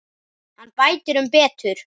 Hann bætir um betur.